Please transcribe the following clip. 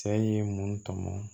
Cɛ in ye mun tɔmɔ